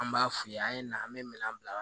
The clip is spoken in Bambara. An b'a f'u ye an ye na an be minɛn bila